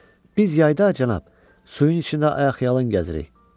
Sonra biz yayda, cənab, suyun içində ayaqyalın gəzirik.